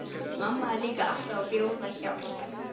Mamma er líka alltaf að bjóða hjálp.